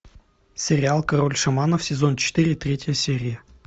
сериал король шаманов сезон четыре третья серия